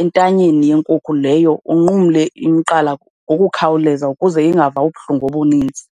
entanyeni yenkukhu leyo, unqumle umqala ngokukhawuleza ukuze ingava ubuhlungu obuninzi.